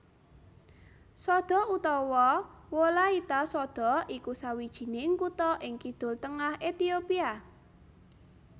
Sodo utawa Wolaita Sodo iku sawijining kutha ing kidul tengah Ethiopia